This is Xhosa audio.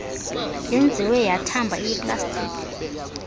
yenziwe yathamba iyiplastiki